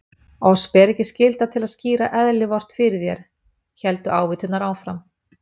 Oss ber ekki skylda til að skýra eðli Vort fyrir þér, héldu ávíturnar áfram.